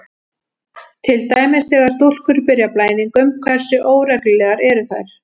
Til dæmis: Þegar stúlkur byrja á blæðingum, hversu óreglulegar eru þær?